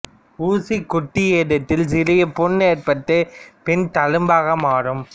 ஊசி குத்தியிடத்தில் சிறிய புண் ஏற்பட்டு பின் தழும்பாக மாறும்